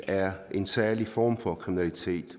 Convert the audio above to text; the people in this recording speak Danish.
er en særlig form for kriminalitet